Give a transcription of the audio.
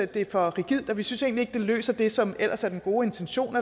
det er for rigidt og vi synes ikke det egentlig løser det som ellers er den gode intention